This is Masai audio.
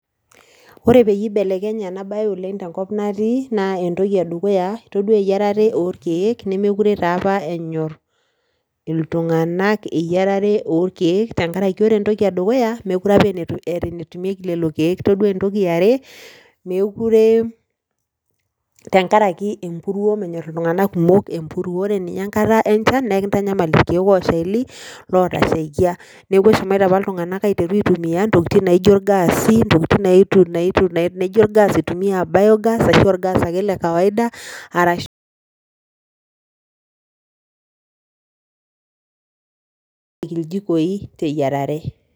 Ore peyie eibelekenye ena bae oleng tenkop natii naa entoki edukuya itodua iyeirare olkeek nemekure taa opa enyor iltung'anak eyierare olkeek tengaraki ore eyierare olkeek ore entoki edukuya mekure opa eeta enetumieki lelo keek todua entoki eare meekure tenkaraki emburuo mentor iltung'anak kumok empuruo, ore ninye enkata enchan naa kintanyamal ilkeek oshali otasheikia neeku eshomoita opa iltung'anak aiteru aitumia ntokiting naijo ilgaasi, intokiting naijo ilgas lebiogas ashu olgas ake lekawaida arashu pik iljikoi teyierare